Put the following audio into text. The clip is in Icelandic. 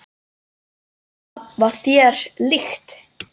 Þetta var þér líkt.